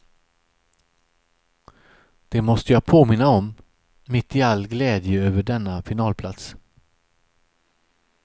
Det måste jag påminna om, mitt i all glädje över denna finalplats.